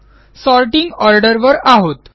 sorting order वर आहोत